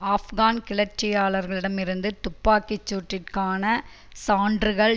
ஆப்கான் கிளர்ச்சியாளர்களிடம் இருந்து துப்பாக்கி சூட்டிற்கான சான்றுகள்